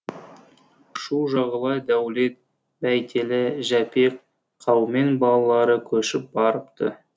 шу жағалай дәулет бәйтелі жәпек қаумен балалары көшіп барыпты